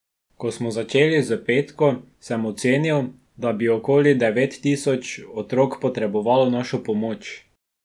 Ko smo začeli s Petko, sem ocenil, da bi okoli devet tisoč otrok potrebovalo našo pomoč.